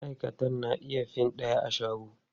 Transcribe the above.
Maʼaikatan na iya fin ɗaya a shago.